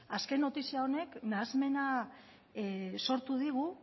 azken notizia honek nahasmena sortu digu